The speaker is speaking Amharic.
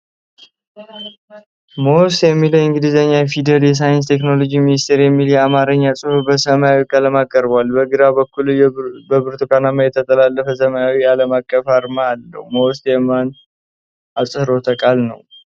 MoST የሚለው የእንግሊዝኛ ፊደልና "የሳይንስና ቴክኖሎጂ ሚኒስቴር" የሚለው የአማርኛ ጽሑፍ በሰማያዊ ቀለማት ቀርበዋል። በግራ በኩል በብርቱካናማ የተጠላለፈ ሰማያዊ ዓለምአቀፋዊ አርማ አለው። MoST የማን አህጽሮተ ቃል ነው?